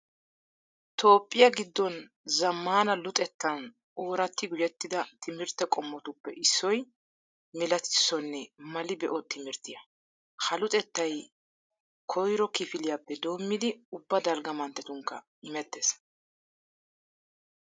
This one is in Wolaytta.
Toophphiya giddon zammaana luxettan ooratti gujettida timirtte qommotuppe issoy milatissonne mali be'o timirttiya. ha luxettay koro kifiliyappe doommidi ubba dalgga manttetunkka imettees.